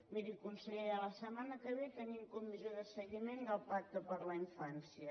miri consellera la setmana que ve tenim comissió de seguiment del pacte per la infància